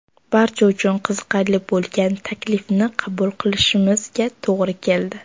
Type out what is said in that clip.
Barcha uchun qiziqarli bo‘lgan taklifni qabul qilishimizga to‘g‘ri keldi.